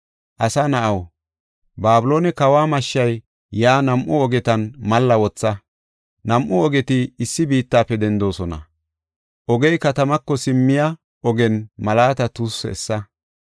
“Asa na7aw, Babiloone kawa mashshay yaa nam7u ogetan malla wotha. Nam7u ogeti issi biittafe dendoosona; ogey katamako simmiya ogen mallata tuussu essa.